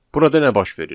Burada nə baş verir?